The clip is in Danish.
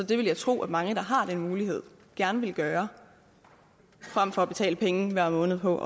det vil jeg tro at mange der har den mulighed gerne vil gøre frem for at betale penge hver måned på